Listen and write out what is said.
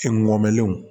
Fingɔlenw